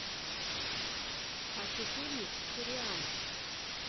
хочу фильмик сириана